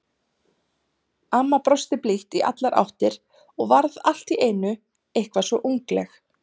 Amma brosti blítt í allar áttir og varð allt í einu eitthvað svo ungleg.